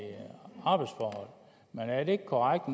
arbejdsforhold men er det ikke korrekt